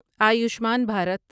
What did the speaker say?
Ayushman Bharat